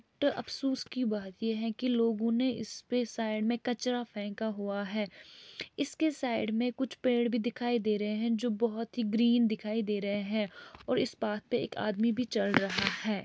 तो अफसोस की बात ये है कि लोगों ने इसपे साइड में कचरा फेंका हुआ है इसके साइड में कुछ पेड़ भी दिखाई दे रहे हैं जो बहुत ही ग्रीन दिखाई दे रहे हैं और इस पार्क पे एक आदमी भी चल रहा है।